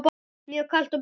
Mjög kalt og bert.